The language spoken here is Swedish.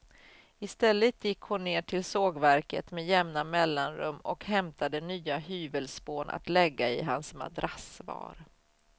I stället gick hon ner till sågverket med jämna mellanrum och hämtade nya hyvelspån att lägga i hans madrassvar.